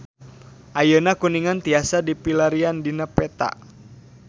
Ayeuna Kuningan tiasa dipilarian dina peta